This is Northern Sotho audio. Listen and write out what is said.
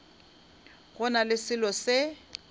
go na le selo se